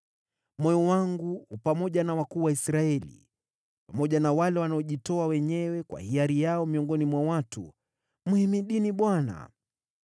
Moyo wangu u pamoja na wakuu wa Israeli, pamoja na wale wanaojitoa wenyewe kwa hiari yao miongoni mwa watu. Mhimidini Bwana !